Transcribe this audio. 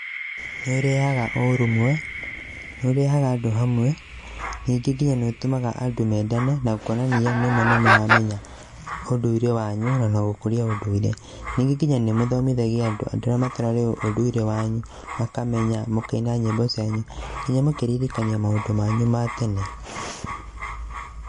Nĩ ũrehaga ũrũmwe, nĩ ũrehaga andũ hamwe ningĩ nginya nĩ ũtũmaga andũ mendane na ũkonania nĩma nĩ mũramenya ũndũire wanyu na gũkũria ũndũire. Ningĩ nginya nĩ mũthomithagia andũ, andũ arĩa mataramenya ũndũire wanyu, mũkamenya, mũkaina nyĩmbo cianyu, nginya mũkeririkania maũndũ manyu ma tene.